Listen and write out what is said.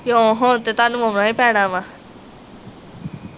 ਕਿਉਂ ਹੁਣ ਤੇ ਤੁਹਾਨੂੰ ਆਉਣਾ ਈ ਪੈਣਾ ਵਾ